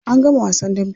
An gama wasan dambe.